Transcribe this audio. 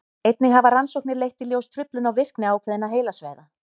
einnig hafa rannsóknir leitt í ljós truflun á virkni ákveðinna heilasvæða